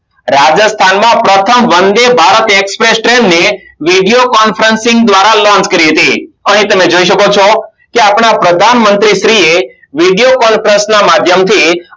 રાજસ્થાનમાં પ્રથમ Vande Bharat Express train video Conferencing દ્વારા launch કરી હતી અને તમે જોય શકો છો કે આપણા પ્રધાન મંત્રી શ્રી એ વિડીયો Conferencing ના માધ્યમથી